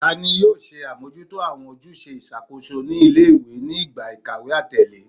Tani yoo ṣe amojuto awọn ojuse iṣakoso ni ile-iwe ni igba ikawe atẹle?